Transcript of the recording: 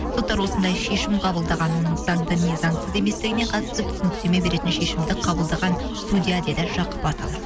соттар осындай шешім қабылдаған оның заңды не заңсыз еместігіне қатысты түсініктеме беретін шешімді қабылдаған судья деді жақып асанов